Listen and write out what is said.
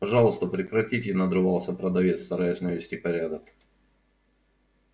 пожалуйста прекратите надрывался продавец стараясь навести порядок